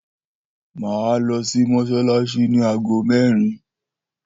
Mà á lọsí mósálásí ní ago mẹ̀rin.